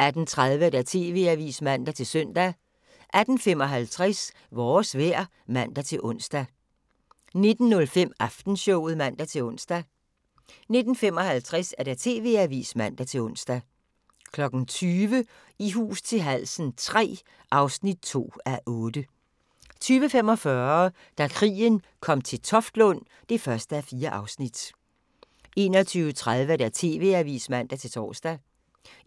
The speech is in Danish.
18:30: TV-avisen (man-søn) 18:55: Vores vejr (man-ons) 19:05: Aftenshowet (man-ons) 19:55: TV-avisen (man-ons) 20:00: I hus til halsen III (2:8) 20:45: Da krigen kom til Toftlund (1:4) 21:30: TV-avisen (man-tor)